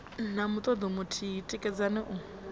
na mutodo muthihi tikedzani u